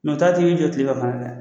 tile ka ban dɛ